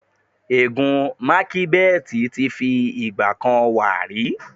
Ègún macbeth ti fi ìgbà kan wà rí.